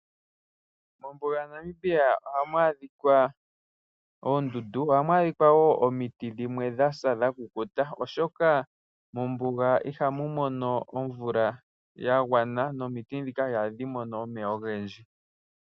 Mombuga yaNamibia ohamu adhika oondundu. Ohamu adhika wo omiti dhimwe dha sa dha kukuta, oshoka, mombuga ihamu mono omvula ya gwana nomiti ndhika ihadhi mono omeya ogendji.